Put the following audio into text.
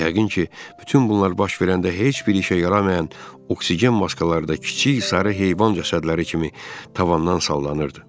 Yəqin ki, bütün bunlar baş verəndə heç bir işə yaramayan oksigen maskaları da kiçik sarı heyvan cəsədləri kimi tavandan sallanırdı.